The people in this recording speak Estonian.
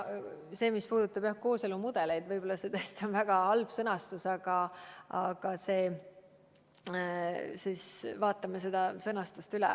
Mis puudutab kooselumudeleid, siis võib-olla see tõesti on väga halb sõnastus ja me vaatame selle sõnastuse üle.